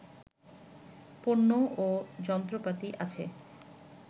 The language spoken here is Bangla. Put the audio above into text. পণ্য ও যন্ত্রপাতি আছে